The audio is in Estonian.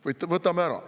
Võtame ära!